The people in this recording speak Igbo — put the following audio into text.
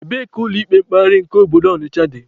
Ebee ka ụlọ ikpe mkpegharị nke obodo Ọnịcha dị?